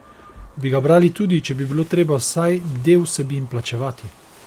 Bi ga brali tudi, če bi bilo treba za vsaj del vsebin plačevati?